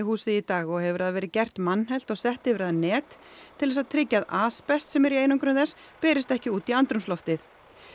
húsið í dag og hefur það verið gert mannhelt og sett yfir það net til þess að tryggja að asbest sem er í einangrun þess berist ekki út í andrúmsloftið